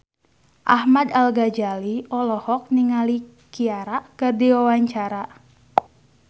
Ahmad Al-Ghazali olohok ningali Ciara keur diwawancara